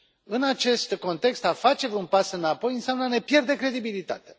În acest context a face un pas înapoi înseamnă a ne pierde credibilitatea.